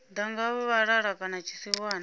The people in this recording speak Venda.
ḓa nga vhalala kana tsiwana